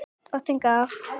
Drottin gaf.